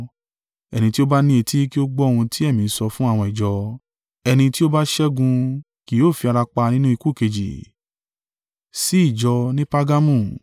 Ẹni tí ó bá ní etí kí ó gbọ́ ohun tí Ẹ̀mí ń sọ fún àwọn ìjọ. Ẹni tí ó bá ṣẹ́gun kì yóò fi ara pa nínú ikú kejì.